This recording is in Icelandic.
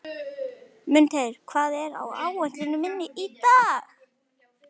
Mundheiður, hvað er á áætluninni minni í dag?